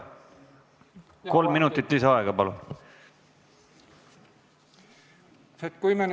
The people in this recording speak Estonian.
Kolm minutit lisaaega, palun!